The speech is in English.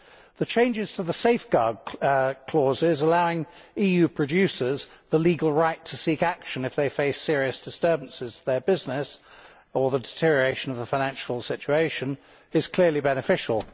The changes to the safeguard clauses allowing EU producers the legal right to seek action if they face serious disturbances to their business, or a deterioration of the financial situation, are clearly beneficial.